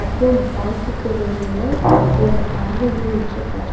அப்றோ பேங்க்குக்கு வெளில ஒரு ஆளு நின்னுட்ருக்காரு.